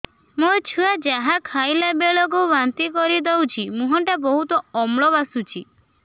ମୋ ଛୁଆ ଯାହା ଖାଇଲା ବେଳକୁ ବାନ୍ତି କରିଦଉଛି ମୁହଁ ଟା ବହୁତ ଅମ୍ଳ ବାସୁଛି